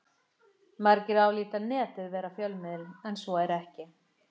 Margir álíta Netið vera fjölmiðil en svo er ekki.